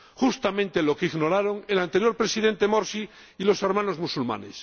Justamente lo que ignoraron el anterior Presidente Morsi y los Hermanos Musulmanes.